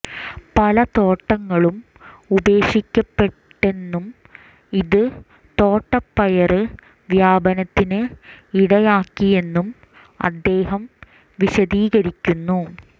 പല തോട്ടങ്ങളും ഉപേക്ഷിക്കപ്പെട്ടെന്നും ഇത് തോട്ടപ്പയര് വ്യാപനത്തിന് ഇടയാക്കിയെന്നും അദ്ദേഹം വിശദീകരിക്കുന്നു